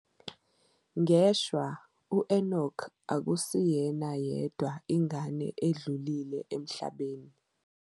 Ngeshwa, u-Enock akusiyena yedwa ingane edlulile emhlabeni.